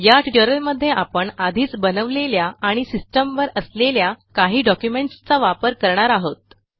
या ट्युटोरियलमध्ये आपण आधीच बनवलेल्या आणि सिस्टीमवर असलेल्या काही डॉक्युमेंटसचा वापर करणार आहोत